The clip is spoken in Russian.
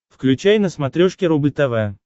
включай на смотрешке рубль тв